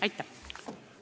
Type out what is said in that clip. Aitäh!